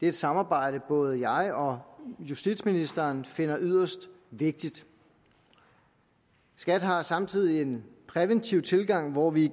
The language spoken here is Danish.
et samarbejde både jeg og justitsministeren finder yderst vigtigt skat har samtidig en præventiv tilgang hvor vi